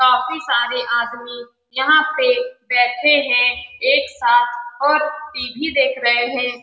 काफी सारे आदमी यहाँ पे बैठे हैं एक साथ और टी.वी. देख रहे हैं।